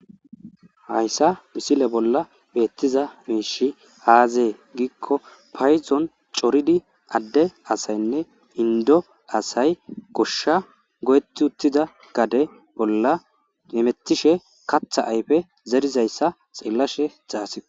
hayssa misile bolla beettiza miishi aazee giikko payzon coridi adde asaynne indo asay goshsha goyetti uttida gade bolla emettishe katha ayfe zerizayssa xillashe xaasio